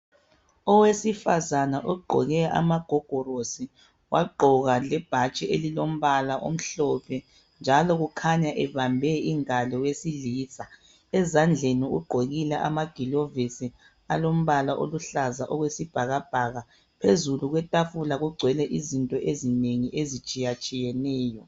Owesifazana ogqoke amagogorosi wagqoka lebhatshi elilombala omhlophe njalo kukhanya ebambe ingalo yowesilisa. Ezandleni ugqokile amagilovisi alombala oluhlaza okwesibhakabhaka. Phezulu kwetafula kugcwele izinto ezinengi ezitshiyatshiyeneyo.